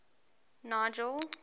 nigel